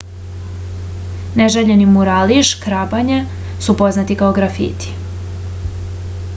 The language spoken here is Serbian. neželjeni murali i škrabanje su poznati kao grafiti